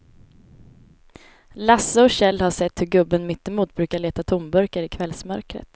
Lasse och Kjell har sett hur gubben mittemot brukar leta tomburkar i kvällsmörkret.